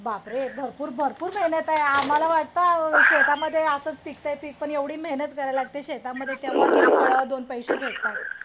बापरे भरपूर भरपूर मेहनत आहे आम्हाला वाटत शेतामध्ये असच पिकात आहे पीक पण येवढी मेहनत घ्यावी लागते शेतामध्ये तेव्हा शेतकर्याला दोन पैसे भेटतात